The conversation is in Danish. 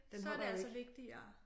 Den holder jo ikke